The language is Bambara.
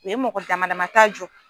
u ye mɔgɔ damadama ta jɔ